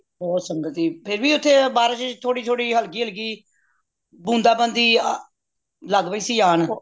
ਬਹੁਤ ਸੰਗਤ ਸੀ ਫੇਰ ਵੀ ਓਥੇ ਬਾਰਿਸ਼ ਚ ਥੋੜੀ ਥੋੜੀ ਹਲਕੀ ਹਲਕੀ ਬੂੰਦਾਂ ਬਾਂਦੀ ਅ ਲੱਗ ਪਯੀ ਸੀ ਆਣ